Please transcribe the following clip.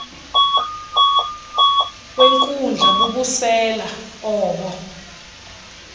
wenkundla bubusela obo